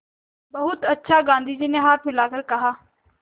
बहुत अच्छा गाँधी जी ने हाथ हिलाकर कहा